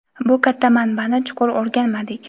bu katta manbani chuqur o‘rganmadik.